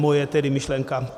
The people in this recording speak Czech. Moje tedy myšlenka.